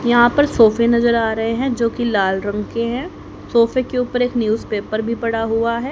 यहां पर सोफे नज़र आ रहे हैं जो कि लाल रंग के हैं सोफे के ऊपर एक न्यूजपेपर भी पड़ा हुआ है।